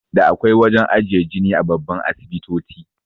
Da akwai wajan ajiye jini a babban asibitoti